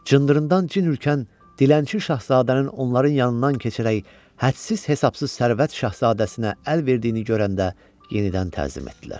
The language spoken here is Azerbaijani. Cındırından cin hürkən dilənçi şahzadənin onların yanından keçərək hədsiz-hesabsız sərvət şahzadəsinə əl verdiyini görəndə yenidən təzim etdilər.